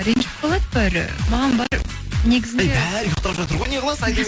ренжіп қалады бәрі маған бәрі негізінде эй бәрі ұйықтап жатыр ғой неғыласыз айта бер